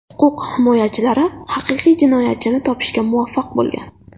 Huquq himoyachilari haqiqiy jinoyatchini topishga muvaffaq bo‘lgan.